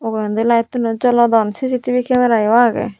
ugurendi light tuno jolodon CCTV kemera yo agey.